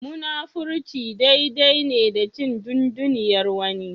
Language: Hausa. Munafurci dai dai ne da cin dunduniyar wani.